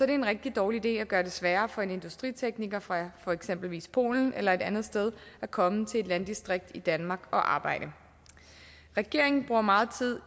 det en rigtig dårlig idé at gøre det sværere for en industritekniker fra for eksempel polen eller et andet sted at komme til et landdistrikt i danmark for at arbejde regeringen bruger meget tid